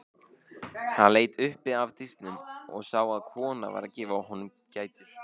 Hann leit upp af diskinum og sá að kona var að gefa honum gætur.